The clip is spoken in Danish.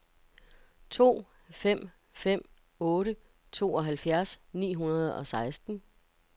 to fem fem otte tooghalvfjerds ni hundrede og seksten